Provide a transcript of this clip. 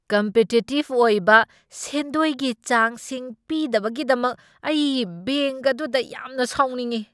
Competitive ꯑꯣꯏꯕ ꯁꯦꯟꯗꯣꯏꯒꯤ ꯆꯥꯡꯁꯤꯡ ꯄꯤꯗꯕꯒꯤꯗꯃꯛ ꯑꯩ ꯕꯦꯡꯛ ꯑꯗꯨꯗ ꯌꯥꯝꯅ ꯁꯥꯎꯅꯤꯡꯏ ꯫